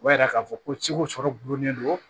O b'a yira k'a fɔ ko ciko sɔrɔ gulonnen do